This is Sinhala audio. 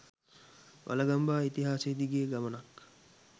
වළගම්බා ඉතිහාසය දිගේ ගමනක්